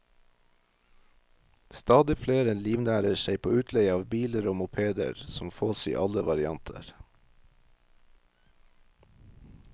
Stadig flere livnærer seg på utleie av biler og mopeder, som fås i alle varianter.